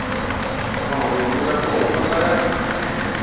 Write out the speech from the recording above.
mahungu ya kona a ya